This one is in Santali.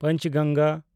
ᱯᱟᱸᱪᱜᱟᱝᱜᱟ